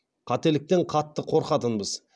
қателіктен қатты қорқатынбыз